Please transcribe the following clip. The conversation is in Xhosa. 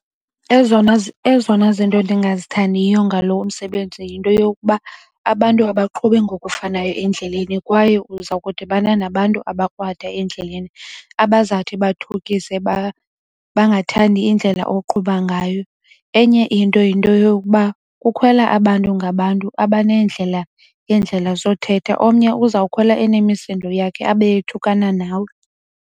Ezona zinto endingazithandiyo ngalo msebenzi yinto yokuba abantu abaqhubi ngokufanayo endleleni kwaye uza kudibana nabantu abakrwada endleleni abazawuthi bathukise bangathandi indlela oqhuba ngayo. Enye into yinto yokuba kukhwela abantu ngabantu abaneendlela ngeendlela zothetha. Omnye uzawukhwela enemisindo yakhe abe ethukana nawe.